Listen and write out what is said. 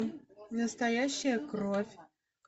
настоящая кровь